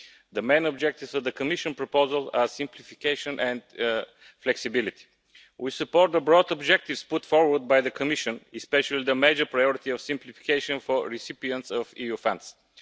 The main objectives of the Commission proposal are simplification and flexibility. We support the broad objectives put forward by the Commission, especially the major priority of simplification for recipients of EU funds.